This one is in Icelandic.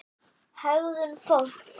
HEGÐUN FÓLKS